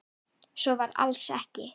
Svo var alls ekki.